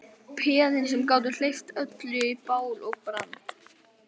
Peðin sem gátu hleypt öllu í bál og brand.